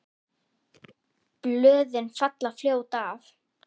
Blöðin falla fljótt af.